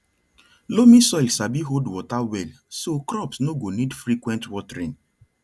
loamy soil sabi hold water well so crops no go need frequent watering